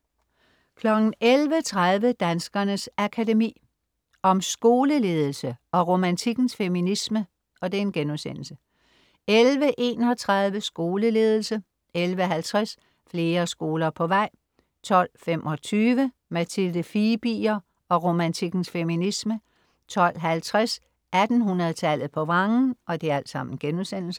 11.30 Danskernes Akademi. Om skoleledelse & Romantikkens feminisme* 11.31 Skoleledelse* 11.50 Flere skoler på vej* 12.25 Mathilde Fibiger og romantikkens feminisme* 12.50 1800-tallet på vrangen*